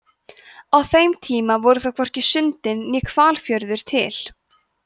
á þeim tíma voru þó hvorki sundin né hvalfjörður til